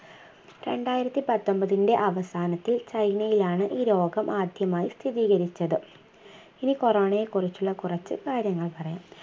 രണ്ടായിരത്തിപതൊമ്പതിന്റെ അവസാനത്തിൽ ചൈനയിലാണ് ഈ രോഗം ആദ്യമായി സ്ഥിരീകരിച്ചത് ഇനി Corona യെ കുറിച്ചുള്ള കുറിച്ചു കാര്യങ്ങൾ പറയാം